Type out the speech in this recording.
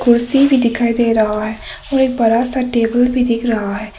कुर्सी भी दिखाई दे रहा है और एक बड़ा सा टेबल भी दिख रहा है।